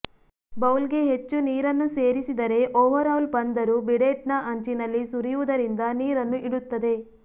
ಬೌಲ್ಗೆ ಹೆಚ್ಚು ನೀರನ್ನು ಸೇರಿಸಿದರೆ ಓವರ್ಹೌಲ್ ಬಂದರು ಬಿಡೆಟ್ನ ಅಂಚಿನಲ್ಲಿ ಸುರಿಯುವುದರಿಂದ ನೀರನ್ನು ಇಡುತ್ತದೆ